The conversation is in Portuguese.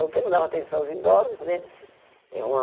Porque não dá mais atenção aos idosos, né? É uma